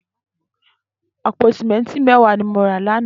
Àpó sìmẹntí mẹ̀wá ni mó rá làná